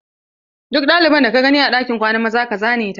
Duk ɗalibar da ka gani a ɗakin kwanan maza ka zane ta!